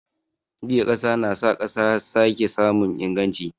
Juya ƙasa na sa ƙasa ya sake samun inganci.